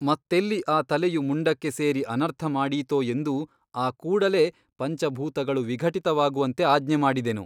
ಮತ್ತೆಲ್ಲಿ ಆ ತಲೆಯು ಮುಂಡಕ್ಕೆ ಸೇರಿ ಅನರ್ಥ ಮಾಡೀತೋ ಎಂದು ಆ ಕೂಡಲೇ ಪಂಚಭೂತಗಳು ವಿಘಟಿತವಾಗುವಂತೆ ಆಜ್ಞೆ ಮಾಡಿದೆನು.